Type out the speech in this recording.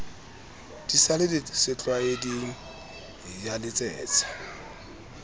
di sa le setlwaeding yaletsetsa